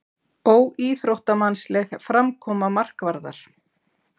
Óíþróttamannsleg framkoma markvarðar?